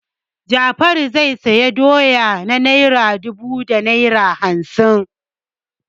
Jafaru zai sayi dora na naira dubu da naira hamsin.